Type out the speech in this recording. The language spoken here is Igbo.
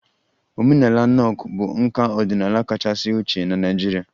Omenala Nok bụ nka ọdịnala kachasị ochie na Naịjirịa